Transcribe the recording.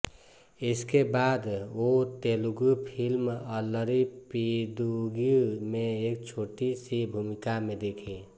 इसके बाद वो तेलुगू फ़िल्म अल्लरी पिदुगू में एक छोटी सी भूमिका में दिखी